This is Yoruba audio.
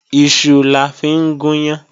Iṣu la fi ń gùn yán